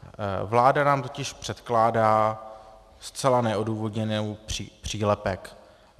Vláda nám totiž předkládá zcela neodůvodněný přílepek.